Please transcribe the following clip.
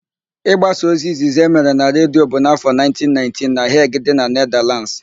Ị gbasa ozi izizi emere na Redio bụ n'áfọ 1919 na Heg dị na mba Nedalands.